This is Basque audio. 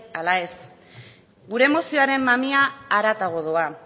ala ez gure mozioaren mamia haratago doa